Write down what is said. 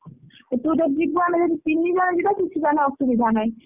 ତୁ ଯଦି ଯିବୁ ଆମେ ଯଦି ତିନି ଜଣ ଯିବା କିଛି ତାହେଲେ ଅସୁବିଧା ନାହିଁ।